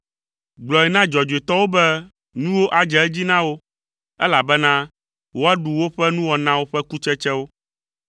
Gblɔe na dzɔdzɔetɔwo be nuwo adze edzi na wo, elabena woaɖu woƒe nuwɔnawo ƒe kutsetsewo.